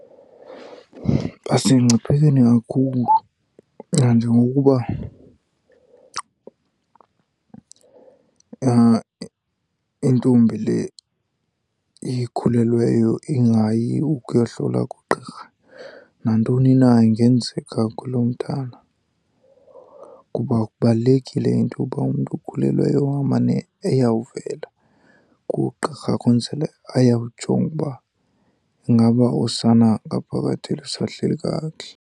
Basemngciphekweni kakhulu nanjengokuba intombi le ikhulelweyo ingayi ukuyohlola kugqirha nantoni na ingenzeka kuloo mntana. Kuba kubalulekile into yoba umntu okhulelweyo amane eyawuvela kugqirha kwenzele ayojonga uba ingaba usana ngaphakathi lusahleli kakuhle.